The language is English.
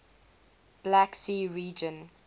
black sea region